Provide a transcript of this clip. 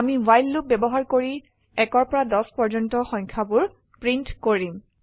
আমি while loop ব্যবহাৰ কৰি 1 পৰা 10 পৰ্যন্ত সংখয়াবোৰ প্ৰিন্ট কৰিম